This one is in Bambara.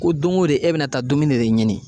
Ko don go don e bi na taa dumuni de ɲini.